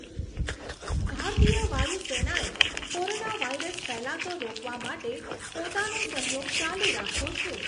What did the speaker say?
ભારતીય વાયુ સેનાએ કોરોનાવાયરસ ફેલાતો રોકવા માટે પોતાનો સહયોગ ચાલુ રાખ્યો છે.